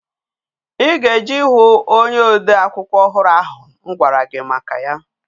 I ga-eje ihu onye ode akwụkwọ ọhụrụ ahụ m kwara gi maka ya.